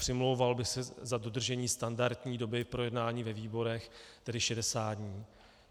Přimlouval bych se za dodržení standardní doby k projednání ve výborech, tedy 60 dní.